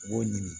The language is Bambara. U b'o ɲini